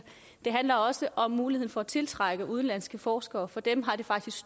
det handler også om muligheden for at tiltrække udenlandske forskere for dem har det faktisk